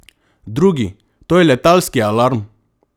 Drugi: "To je letalski alarm.